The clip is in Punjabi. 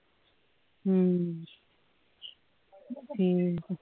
ਹੂੰ ਹੂੰ